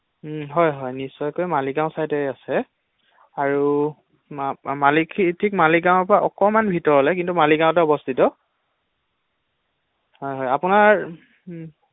হয় হয় নিশ্চয়কৈ মালিগাঁও চাইডে আছে, আৰু ঠিক মালিগাঁওৰ পৰা অকণমান ভিতৰলৈ কিন্ত মালিগাঁওত অৱস্হিত৷